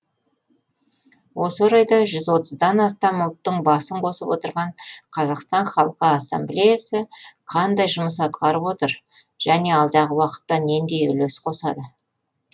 осы орайда жүз отыздан астам ұлттың басын қосып отырған қазақстан халқы ассамблеясы қандай жұмыстар атқарып отыр және алдағы уақытта нендей үлес қосады